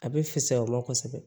A bɛ fisaya o la kosɛbɛ